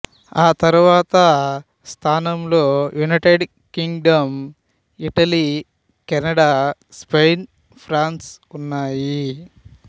తర్వాత స్థానంలో United Kingdom Italy Canada Spain France ఉన్నాయి